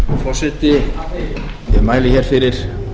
forseti ég mæli hér fyrir